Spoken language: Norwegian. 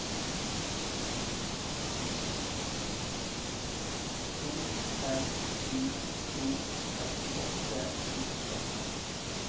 to fem sju to femtiåtte sju hundre og fem